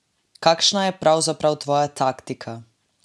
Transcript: Kakšna je pravzaprav tvoja taktika?